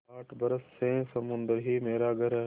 आठ बरस से समुद्र ही मेरा घर है